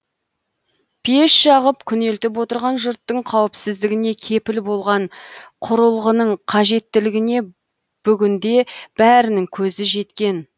пеш жағып күнелтіп отырған жұрттың қауіпсіздігіне кепіл болған құрылғының қажеттілігіне бүгінде бәрінің көзі жеткен